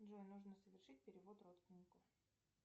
джой нужно совершить перевод родственнику